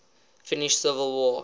finnish civil war